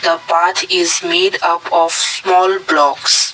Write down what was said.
a path is made up of small blocks.